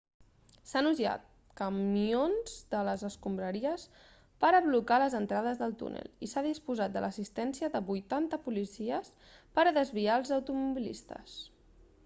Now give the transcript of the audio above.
s'han usat camions de les escombraries per a blocar les entrades del túnel i s'ha disposat de l'assistència de 80 policies per a desviar els automobilistes